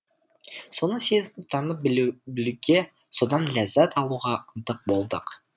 соны сезініп танып білуге содан ләззат алуға ынтық болдық